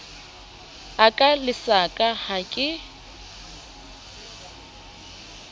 a ka lesaka ha ke